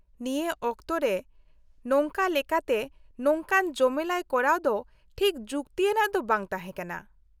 -ᱱᱤᱭᱟᱹ ᱚᱠᱛᱚ ᱨᱮ ᱱᱚᱝᱠᱟ ᱞᱮᱠᱟᱛᱮ ᱱᱚᱝᱠᱟᱱ ᱡᱚᱢᱮᱞᱟᱭ ᱠᱚᱨᱟᱣ ᱫᱚ ᱴᱷᱤᱠ ᱡᱩᱠᱛᱤᱭᱟᱱᱟᱜ ᱫᱚ ᱵᱟᱝ ᱛᱟᱦᱮᱸ ᱠᱟᱱᱟ ᱾